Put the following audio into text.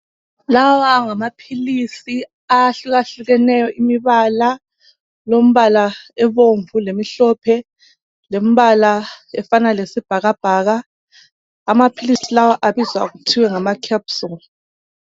Lawa ngamaphilisi ahlukahlukeneyo imibala, ilombala obomvu lemihlophe lombala ofana lesibhakabhaka .Amaphilisi lawa abizwa kuthiwe ngama "Capsule".